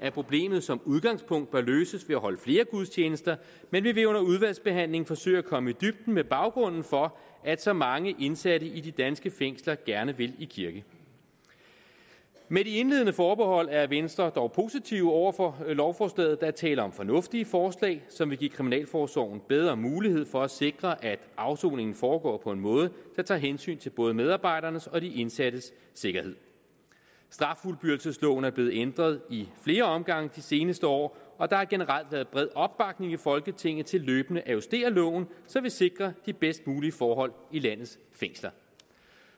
at problemet som udgangspunkt bør løses ved at holde flere gudstjenester men vi vil under udvalgsbehandlingen forsøge at komme i dybden med baggrunden for at så mange indsatte i de danske fængsler gerne vil i kirke med de indledende forbehold er venstre dog positiv over for lovforslaget der er tale om fornuftige forslag som vil give kriminalforsorgen bedre mulighed for at sikre at afsoningen foregår på en måde der tager hensyn til både medarbejdernes og de indsattes sikkerhed straffuldbyrdelsesloven er blevet ændret i flere omgange de seneste år og der har generelt været bred opbakning i folketinget til løbende at justere loven så vi sikrer de bedst mulige forhold i landets fængsler